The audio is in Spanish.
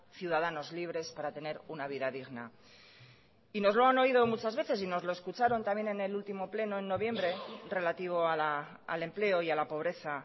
ciudadanos libres para tener una vida digna y nos lo han oído muchas veces y nos lo escucharon también en el último pleno en noviembre relativo al empleo y a la pobreza